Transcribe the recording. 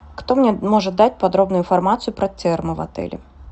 кто мне может дать подробную информацию про термы в отеле